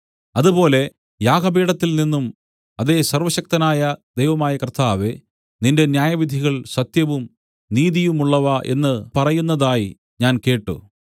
അതുപോലെ യാഗപീഠത്തിൽ നിന്നും അതേ സർവ്വശക്തനായ ദൈവമായ കർത്താവേ നിന്റെ ന്യായവിധികൾ സത്യവും നീതിയുമുള്ളവ എന്ന് പറയുന്നതായി ഞാൻ കേട്ട്